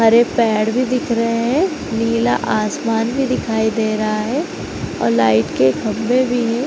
हरे पैड़ भी दिख रहे हैं। नीला आसमन् भी दिखाई दे रहा है और लाइट के खम्बे भी हैं।